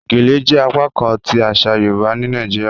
Gèlè jẹ apakán ti aṣa Yorùbá ni Nàìjíríà